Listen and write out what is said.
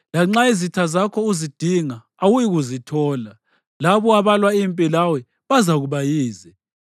Lanxa izitha zakho uzidinga, awuyikuzithola. Labo abalwa impi lawe bazakuba yize.